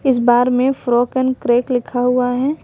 इस बार में फ्रॉक एन क्रैक लिखा हुआ है।